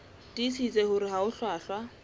tiisitse hore ha ho hlwahlwa